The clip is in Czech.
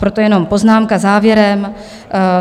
Proto jenom poznámka závěrem.